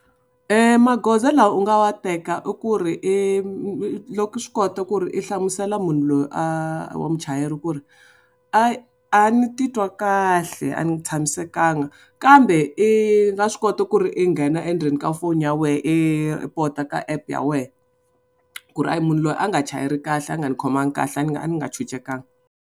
Magoza lawa u nga wa teka i ku ri i loko i swi kota ku ri i hlamusela munhu loyi a wa muchayeri ku ri a a ni titwa kahle a ni tshamisekanga kambe i nga swi kota ku ri i nghena endzeni ka foni ya wena i pota ka app ya wehe ku ri a hi munhu loyi a nga chayeli kahle a nga ni khomangi kahle a ni nga a ni nga tshunxekanga.